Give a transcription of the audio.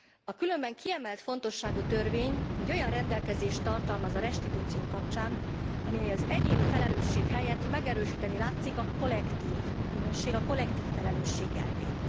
A különben kiemelt fontosságú törvény egy olyan rendelkezést tartalmaz a restitúció kapcsán, ami az egyéni felelősség helyett megerősíteni látszik a kollektív bűnösség, a kollektív felelősség elvét.